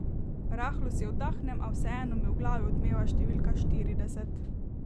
Rahlo si oddahnem, a vseeno mi v glavi odmeva številka štirideset ...